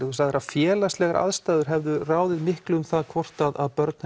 þú sagðir að félagslegar aðstæður hefðu ráðið miklu um það hvort að börn